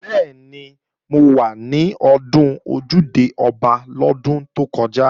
Bẹ́ẹ̀ni, mo wà ní Ọdún Ojúde-Ọba lọ́dún tó kọjá